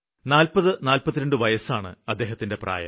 40 42 വയസ്സാണ് അദ്ദേഹത്തിന്റെ പ്രായം